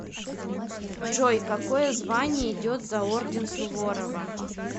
джой какое звание идет за орден суворова